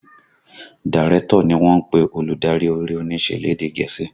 Dàrẹ̀tọ̀ ni wọ́n ń pè olùdarí eré onísẹ lédè gẹ̀ẹ́sì